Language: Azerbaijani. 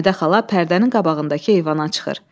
Həmidə xala pərdənin qabağındakı eyvana çıxır.